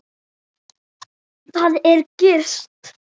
Þar er gist.